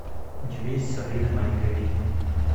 у тебя есть сабрина маленькая ведьма